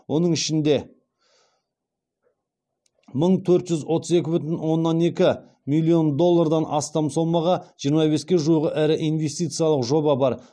оның ішінде мың төрт жүз отыз екі бүтін оннан екі миллион доллардан астам сомаға жиырма беске жуық ірі инвестициялық жоба бар